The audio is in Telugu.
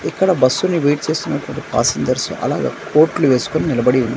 ఇక్కడ బస్సుని వెయిట్ చేస్తున్ననటువంటి పాసింజర్స్ అలాగా కోట్లు వేసుకుని నిలబడి ఉన్నారు.